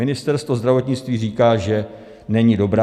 Ministerstvo zdravotnictví říká, že není dobrá.